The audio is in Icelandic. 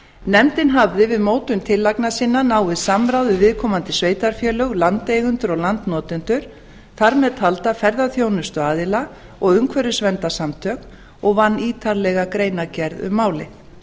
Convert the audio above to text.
nefndin hafði við mótun tillagna sinna náið samráð við viðkomandi sveitarfélög landeigendur og landnotendur þar með talda ferðaþjónustuaðila og umhverfisverndarsamtök og vann ítarlega greinargerð um málið